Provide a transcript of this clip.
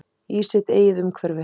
Í sitt eigið umhverfi.